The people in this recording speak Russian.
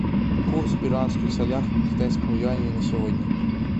курс в перуанских солях к китайскому юаню на сегодня